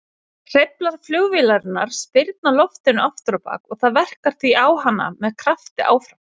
Hreyflar flugvélarinnar spyrna loftinu afturábak og það verkar því á hana með krafti áfram.